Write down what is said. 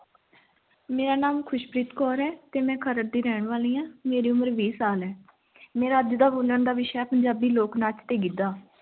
ਮੇਰਾ ਨਾਮ ਖ਼ੁਸ਼ਪ੍ਰੀਤ ਕੌਰ ਹੈ ਤੇੇ ਮੈਂ ਖਰੜ ਦੀ ਰਹਿਣ ਵਾਲੀ ਹਾਂ, ਮੇਰੀ ਉਮਰ ਵੀਹ ਸਾਲ ਹੈ ਮੇਰਾ ਅੱਜ ਦਾ ਬੋਲਣ ਦਾ ਵਿਸ਼ਾ ਹੈ, ਪੰਜਾਬੀ ਲੋਕ ਨਾਚ ਤੇ ਗਿੱਧਾ।